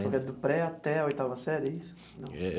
Então é do pré até a oitava série, é isso não? É.